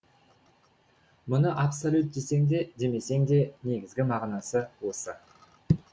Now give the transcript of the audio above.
мұны абсолют десең де демесең де негізгі мағынасы осы